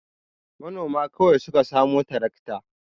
Manoma kawai su ka samu tarakta.